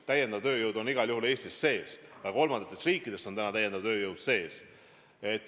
Täiendav tööjõud on igal juhul Eestis olemas, ka kolmandatest riikidest pärit täiendav tööjõud on olemas.